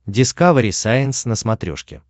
дискавери сайенс на смотрешке